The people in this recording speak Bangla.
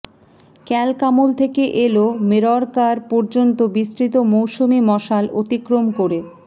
ক্যালকামুল থেকে এল মিররকার পর্যন্ত বিস্তৃত মৌসুমি মশাল অতিক্রম করে